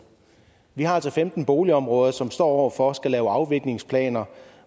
vi har altså femten boligområder som står over for at skulle lave afviklingsplaner